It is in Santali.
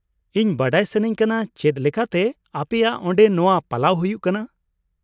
ᱤᱧ ᱵᱟᱰᱟᱭ ᱥᱟᱹᱱᱟᱹᱧ ᱠᱟᱱᱟ ᱪᱮᱫ ᱞᱮᱠᱟᱛᱮ ᱟᱯᱮᱭᱟᱜ ᱚᱸᱰᱮ ᱱᱚᱶᱟ ᱯᱟᱞᱟᱣ ᱦᱩᱭᱩᱜᱼᱟ ᱾